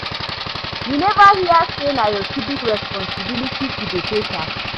You neva hear sey na your civic responsibility to dey pay tax?